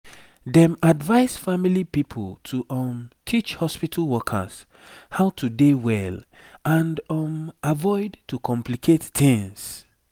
dem advise family pipo to um teach hospitu workers how to dey well and um avoid to complicate tings